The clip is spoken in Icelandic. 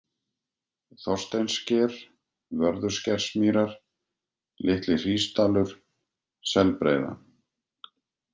Þorsteinssker, Vörðuskersmýrar, Litli-Hrísdalur, Selbreiða